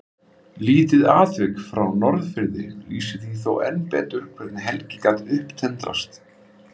Lítið atvik frá Norðfirði lýsir því þó enn betur hvernig Helgi gat upptendrast.